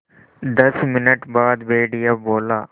दस मिनट बाद भेड़िया बोला